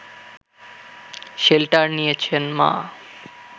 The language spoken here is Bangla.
শেল্টার নিয়েছেন মা